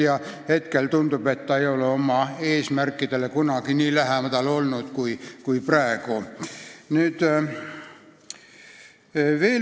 Nüüd tundub, et ta ei ole oma eesmärkidele kunagi nii lähedal olnud kui praegu.